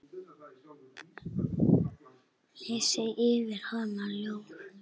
Lesi fyrir hana ljóð.